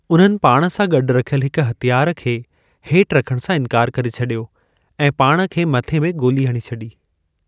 उन्हनि पाण सां गॾु रखियल हिक हथियार खे हेठि रखण सां इनिकारु करे छडि॒यो ऐं पाण खे मथे में गोली हणी छडी॒।